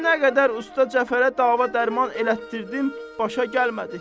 Nə qədər usta Cəfərə dava dərman elətdirdim, başa gəlmədi.